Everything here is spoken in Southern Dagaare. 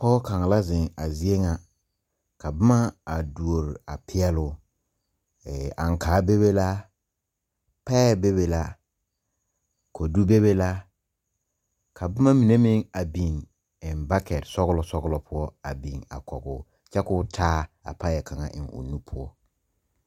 Pɔg kang la zeng a zeɛ nga ka buma a doɔrre a peɛloo ankaa bebe la pɛɛ bebe la kodu bebe la ka buma mene meng a bing en bɔketi sɔglo sɔglo puo a bing koguo kye koo taa a pɛɛ kanga en ɔ nu pou.